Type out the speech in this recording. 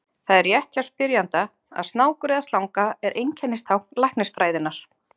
Það er rétt hjá spyrjanda að snákur eða slanga er einkennistákn læknisfræðinnar.